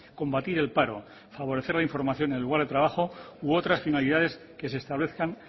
combatir el paro favorecer la información en el lugar de trabajo u otras finalidades que se establezcan